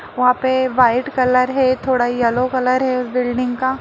वहाँ पे white colour है थोड़ा येलो कलर है बिल्डिंग का --